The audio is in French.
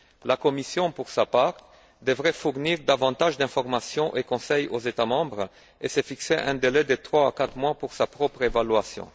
La Commission, pour sa part, devrait fournir davantage d'informations et de conseils aux États membres et se fixer un délai de trois à quatre mois pour sa propre évaluation.